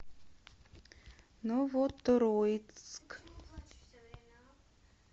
новотроицк